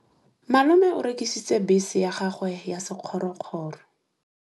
Malome o rekisitse bese ya gagwe ya sekgorokgoro.